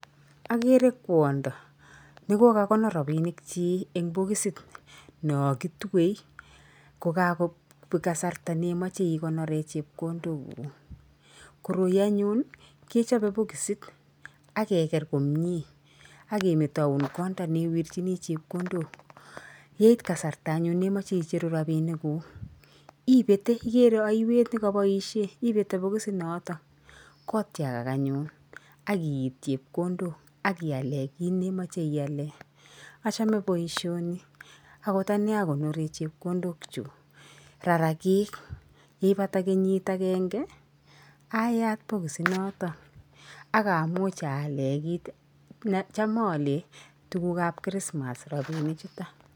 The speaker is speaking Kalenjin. Ageere kwanda nekokakonor rapinkchi eng bokisit no kitue kokakobek kasarta nemeche ikonore chepkondokuk. Koroi anyun kechope bokisit ak kegeer komnye ak kemetoun konda anyun newirchini chepkondok, yeit kasarta anyun nemache icheru rapinikuk ipete igeere aiwet nekapoishe, ipete bokisit noto kotiakak anyun, akiit chepkondok ak kiaale kiit nemache iale. Achame boisioni akot anee akonore chepkondok chu, rarakik ye ipata kenyit agenge ayat bokisinoto akamuch aale kiit necham aale tuguukab krismas rapini chuto.